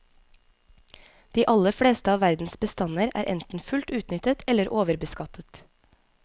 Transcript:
De aller fleste av verdens bestander er enten fullt utnyttet eller overbeskattet.